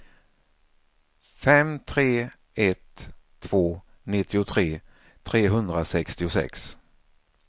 fem tre ett två nittiotre trehundrasextiosex